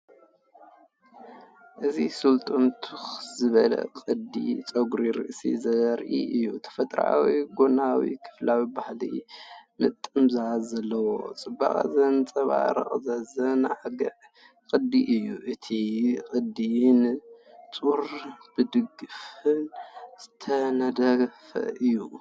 እዚ ስሉጥን ትኽ ዝበለን ቅዲ ጸጉሪ ርእሲ ዘርኢ እዩ። ተፈጥሮኣዊ ጎናዊ ክፋልን ባህላዊ ምጥምዛዝን ዘለዎ፡ ጽባቐ ዘንጸባርቕ ዘዘናግዕ ቅዲ እዩ። እቲ ቅዲ ብንጹርን ብጽፉፍን ዝተነድፈ እዩ።